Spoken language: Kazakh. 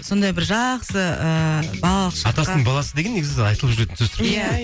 сондай бір жақсы ыыы балалық шаққа атасының баласы деген негізі айтылып жүретін сөз тіркесі ғой иә иә